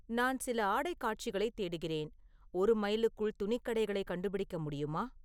நான் சில ஆடைக் காட்சிகளைத் தேடுகிறேன், ஒரு மைலுக்குள் துணிக்கடைகளைக் கண்டுபிடிக்க முடியுமா